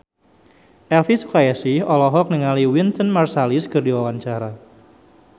Elvi Sukaesih olohok ningali Wynton Marsalis keur diwawancara